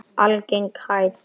Algeng hæð gosa er